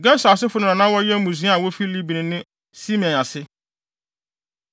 Gerson asefo no na wɔyɛ mmusua a wofi Libni ne Simei ase.